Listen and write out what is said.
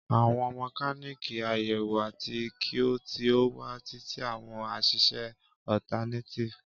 Àwọn mekaniki ayewo ati ki o ti o wa titi awọn aṣiṣe alternator.